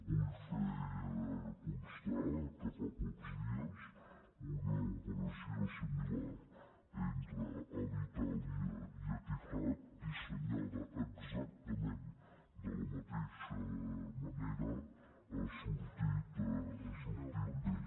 vull fer constar que fa pocs dies una operació similar entre alitalia i etihad dissenyada exactament de la mateixa manera ha sortit bé